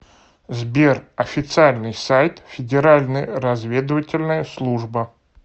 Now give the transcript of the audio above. сбер официальный сайт федеральная разведывательная служба